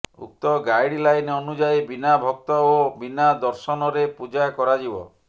ଉକ୍ତ guideline ଅନୁଯାୟୀ ବିନା ଭକ୍ତ ଓ ବିନା ଦର୍ଶନରେ ପୂଜା କରାଯିବ